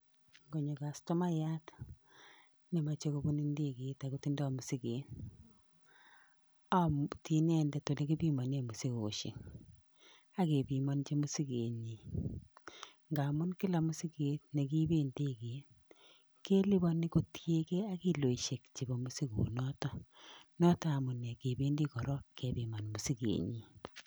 Ngonyo kastomayat nemachei kopun ndeget akotindoi musiket, amuti inendet olikipimane musogeshek, ak kepimonji musigenyi, mgamun kila musiget nekiipe ndeke,t kelipani kotiegei ak kiloishek chepo musikoshek. Notok amune sikependi korok kepiman musigenyi.